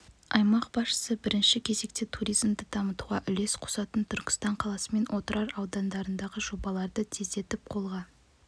аймақ басшысы бірінші кезекте туризмді дамытуға үлес қосатын түркістан қаласы мен отырар аудандарындағы жобаларды тездетіп қолға